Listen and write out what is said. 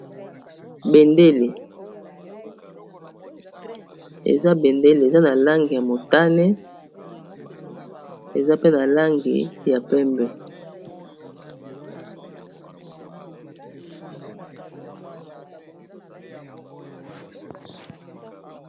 Bendele eza bendele eza na langi ya motane eza mpe na langi ya pembe.